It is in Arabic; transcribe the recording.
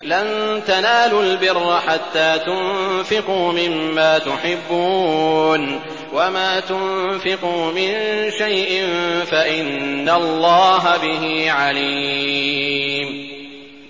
لَن تَنَالُوا الْبِرَّ حَتَّىٰ تُنفِقُوا مِمَّا تُحِبُّونَ ۚ وَمَا تُنفِقُوا مِن شَيْءٍ فَإِنَّ اللَّهَ بِهِ عَلِيمٌ